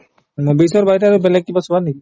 movies ৰ বাহিৰে আৰু বেলেগ কিবা চোৱা নেকি ?